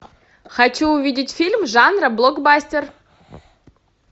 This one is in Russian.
хочу увидеть фильм жанра блокбастер